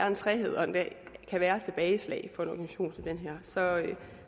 en træghed og der kan være et tilbageslag for en organisation som den her så er der